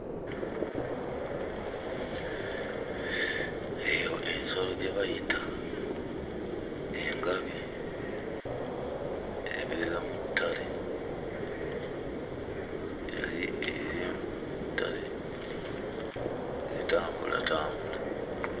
Eyo ensolo gye bayita engabi, ebeera mu ttale. Yali eri mu ttale ng'etambulatambula.